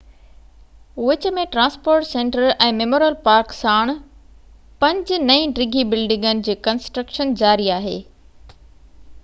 وچ ۾ transport centre ۽ memorial park ساڻ پنج نئي ڊگهي بلڊنگن جي ڪنسٽرڪشن جاري آهي